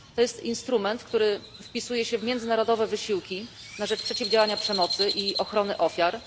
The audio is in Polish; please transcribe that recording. To jest instrument, który wpisuje się w międzynarodowe wysiłki na rzecz przeciwdziałania przemocy i ochrony ofiar.